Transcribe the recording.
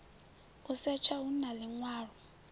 u setsha hu na ḽiṅwalo